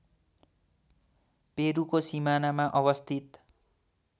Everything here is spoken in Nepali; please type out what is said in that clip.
पेरुको सिमानामा अवस्थित